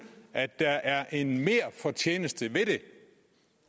at der er en merfortjeneste ved det